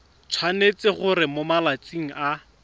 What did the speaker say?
tshwanetse gore mo malatsing a